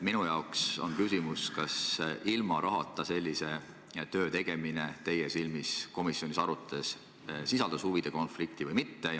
Minu jaoks on küsimus, kas ilma rahata sellise töö tegemine sisaldab teie silmis, kui te seda komisjonis arutasite, huvide konflikti või mitte.